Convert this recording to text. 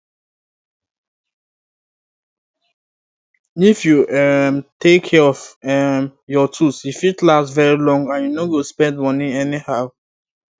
if you um take care of um your tools e fit last very long and you no go spend moni anyhow